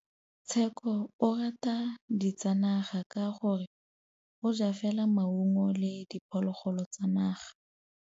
Tshekô o rata ditsanaga ka gore o ja fela maungo le diphologolo tsa naga.